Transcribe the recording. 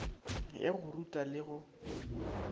ya go ruta le go